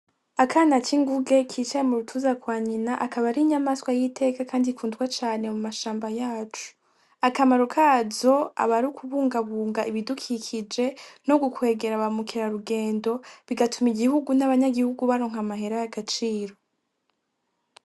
Akana k'inguge kicaye mu rutuza kwa nyina akaba ari inyamaswa y'iteka, kandi kundwa cane mu mashamba yacu, akamaro kazo abari ukubungabunga ibidukikije no gukwegera abamukera rugendo bigatuma igihugu n'abanyagihugu baronka amahera y'agaciro.